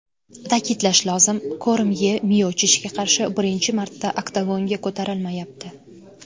Ta’kidlash lozim, Kormye Miochichga qarshi birinchi marta oktagonga ko‘tarilmayapti.